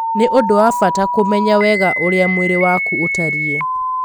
Nĩ ũndũ wa bata kũmenya wega ũrĩa mwĩrĩ waku ũtariĩ.